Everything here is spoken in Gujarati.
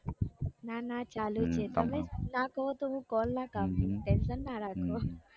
ના ના ચાલુ જ છે તમે ના કહો તો હું call ના કાપીશ tension ના રાખો